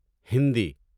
Hindi